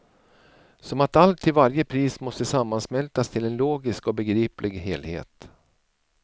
Som att allt till varje pris måste sammansmältas till en logisk och begriplig helhet.